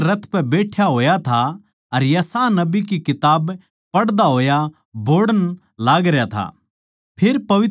वो अपणे रथ पै बैठ्या होया था अर यशायाह नबी की किताब पढ़दा होया बोहड़ण लागरया था